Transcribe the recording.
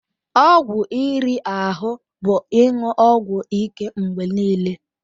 Ọgwụ riri ahụ bụ ịṅụ ọgwụ ike mgbe niile.